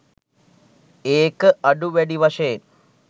ඒක අඩු වැඩි වශයෙන්